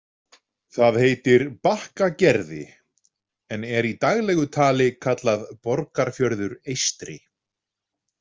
Það heitir Bakkagerði, en er í daglegu tali kallað Borgarfjörður eystri.